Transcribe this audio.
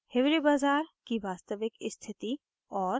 2 hiware bazar की वास्तविक स्थिति और